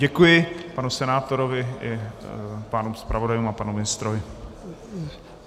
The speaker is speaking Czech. Děkuji panu senátorovi i pánům zpravodajům a panu ministrovi.